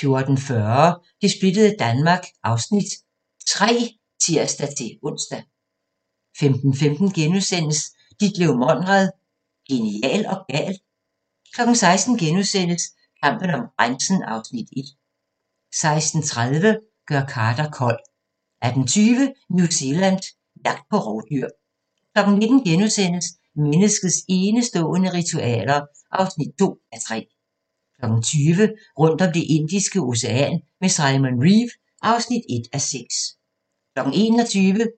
14:40: Det splittede Danmark (Afs. 3)(tir-ons) 15:15: Ditlev Monrad – genial og gal? * 16:00: Kampen om grænsen (Afs. 1)* 16:30: Gør Carter kold 18:20: New Zealand – jagt på rovdyr 19:00: Menneskets enestående ritualer (2:3)* 20:00: Rundt om Det Indiske Ocean med Simon Reeve (1:6) 21:00: